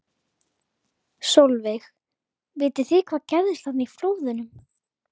Sólveig: Vitið þið hvað gerðist þarna í flóðunum?